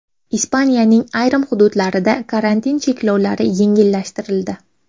Ispaniyaning ayrim hududlarida karantin cheklovlari yengillashtirildi.